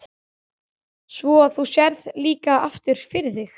Svo þú sérð líka aftur fyrir þig?